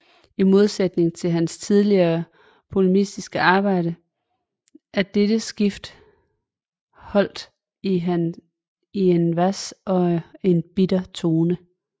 I modsætning til hans tidligere polemiske arbejder er dette skrift holdt i en hvas og bitter tone